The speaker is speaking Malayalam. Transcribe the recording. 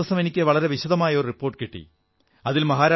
കഴിഞ്ഞ ദിവസം എനിക്ക് വളരെ വിശദമായ ഒരു റിപ്പോർട്ട് കിട്ടി